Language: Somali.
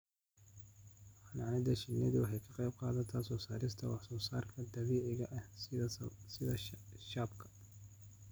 Xannaanada shinnidu waxa ay ka qayb qaadataa soo saarista wax soo saarka dabiiciga ah sida shaabka.